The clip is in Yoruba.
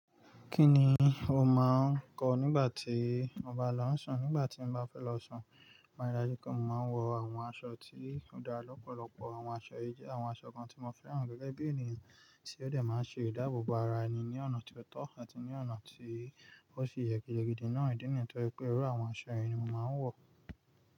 Kí ni o máa ń kọ nígbà tí o ba lọ́ ń sùn? Nígbà tí mo bá fẹ́ lọ sùn, mo rántí pé mo máa ń wọ àwọn aṣọ tí ó dá lọ́pọ̀lọpọ̀. Àwọn aṣọ èyí jẹ́ àwọn aṣọ kan tí mo fẹ́ràn gẹ́gẹ́ bí ènìyàn tí ó dẹ́ máa ń ṣe ìdáàbò bo ara ẹni ní ọ̀nà tí ó tọ́ àti ní ọ̀nà tí ó sì yẹ. Gidigidi náà, ìdí mi nítorí pé irú àwọn aṣọ yìí ni mo máa ń wọ̀.